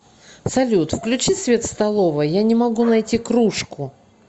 салют включи свет в столовой я не могу найти кружку